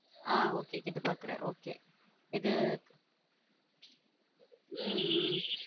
ஹம் okay கேட்டுப்பாக்கிறேன் okay இது உம் உம்